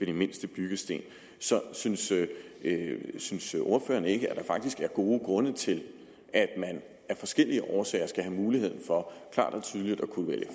de mindste byggesten så synes synes ordføreren ikke at der faktisk er gode grunde til at man af forskellige årsager skal have muligheden for at kunne vælge